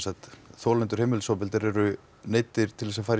þolendur heimilisofbeldis eru neyddir til að fara í